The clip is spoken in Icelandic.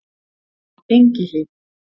Engihlíð